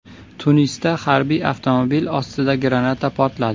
Tunisda harbiy avtomobil ostida granata portladi.